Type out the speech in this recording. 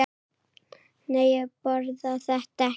Nei, ég borða þetta ekki.